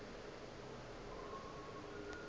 ge e be e se